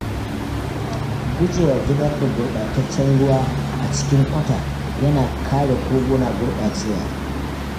Gujewa zubar da gurɓataccen ruwa a cikin kwata yana kare koguna gurɓacewa.